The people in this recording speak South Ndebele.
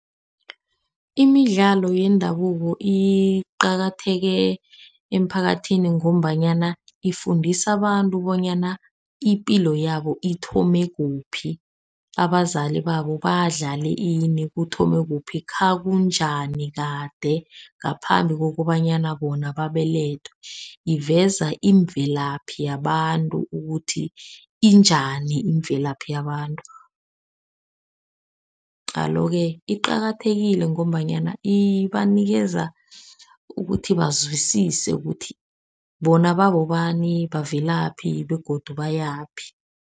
Imidlalo yendabuko iqakatheke emphakathini ngombanyana ifundisa abantu bonyana ipilo yabo ithome kuphi. Abazali babo badlale ini kuthome kuphi khakunjani kade ngaphambi kokobanyana bona babelethwe. Iveza imvelaphi yabantu ukuthi injani, imvelaphi yabantu. Alo-ke iqakathekile ngombanyana ibanikeza ukuthi bazwisise ukuthi bona babobani, bavelaphi begodu bayaphi.